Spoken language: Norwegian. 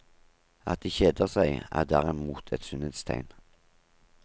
At de kjeder seg, er derimot et sunnhetstegn.